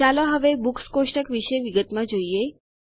ચાલો હવે બુક્સ કોષ્ટક વિશે વિગતમાં જોઈએ